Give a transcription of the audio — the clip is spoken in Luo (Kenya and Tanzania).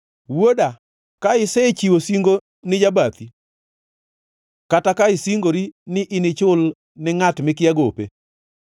Wuoda, ka isechiwo singo ni jabathi, kata ka isingori ni inichul ni ngʼat mikia gope,